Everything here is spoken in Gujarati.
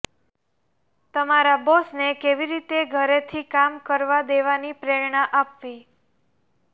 તમારા બોસને કેવી રીતે ઘરેથી કામ કરવા દેવાની પ્રેરણા આપવી